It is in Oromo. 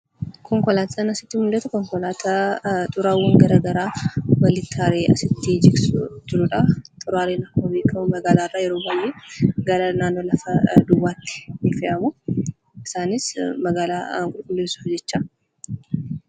Konkolaataan asii gaditti argamu kun konkolaataa xuraawwaa walitti qabee bakkeetti kan gataa jiru dha. Innis yeroo baayyee magaalaa keessaa baasee bakka lafa duwwaatti kan gatuu dha.